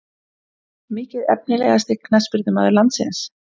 Mikið Efnilegasti knattspyrnumaður landsins?